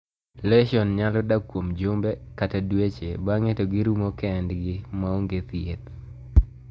Lesion nyalo dak kuom jumbe kata dueche bang'e to girumo kend gi ma ong'e thieth.